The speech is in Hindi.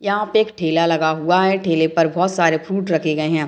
यहाँ पे एक ठेला लगा हुआ है ठेले पे बहुत सारे फ्रूट रखे गए है।